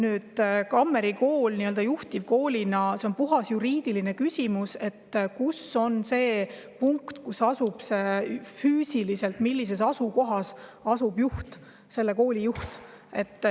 Nüüd, Kammeri Kool nii-öelda juhtivkoolina – see on puhtalt juriidiline küsimus, kus on see punkt, asukoht, kus selle kooli juht füüsiliselt asub.